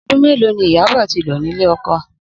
Odún mélòó ni Ìyabò tí lò nílé oko